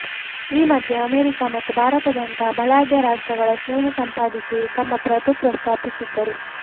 ಈ ಮಧ್ಯೆ ಅಮೆರಿಕ ಮತ್ತು ಭಾರತದಂತಹ ಬಲಾಢ್ಯ ರಾಷ್ಟ್ರಗಳ ಸ್ನೇಹ ಸಂಪಾದಿಸಿ ತಮ್ಮ ಪ್ರಭುತ್ವ ಸ್ಥಾಪಿಸಿದ್ದರು